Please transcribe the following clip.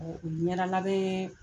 Uu Ɲɛda labɛn